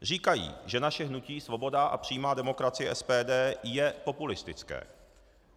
Říkají, že naše hnutí Svoboda a přímá demokracie - SPD je populistické.